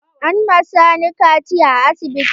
An ma Sani kaciya a asibiti.